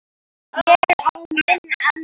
Ég á minn ennþá.